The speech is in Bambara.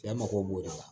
Cɛ mago b'o de la